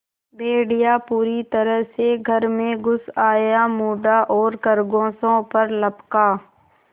भेड़िया पूरी तरह से घर में घुस आया मुड़ा और खरगोशों पर लपका